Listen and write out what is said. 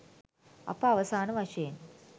අප අවසාන වශයෙන්